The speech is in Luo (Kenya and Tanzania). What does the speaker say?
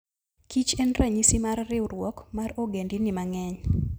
kich en ranyisi mar riwruok mar ogendini mang'eny.